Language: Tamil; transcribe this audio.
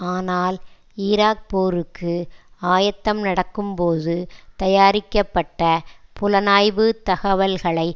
ஆனால் ஈராக் போருக்கு ஆயத்தம் நடக்கும்போது தயாரிக்கப்பட்ட புலனாய்வு தகவல்களை